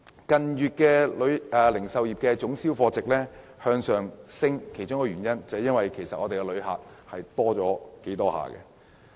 近月零售業總銷貨值持續上升的原因，跟來港旅客數目增長有關。